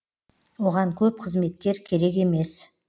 оған көп қызметкер керек емес